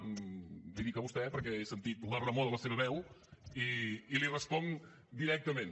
li ho dic a vostè perquè he sentit la remor de la seva veu i li responc directament